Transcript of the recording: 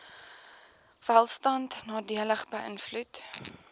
welstand nadelig beïnvloed